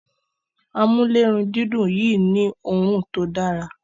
Amulerundidun Yi ni òòrùn tí ọ Dára